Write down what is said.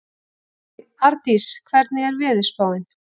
Ardís, hvernig er veðurspáin?